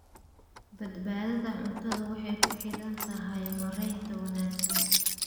Badbaadada cuntadu waxay ku xidhan tahay maaraynta wanaagsan.